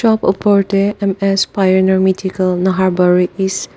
shop opor tae M_S pioneer medical nahabari east.